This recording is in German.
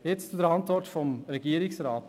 Jetzt zur Antwort des Regierungsrats.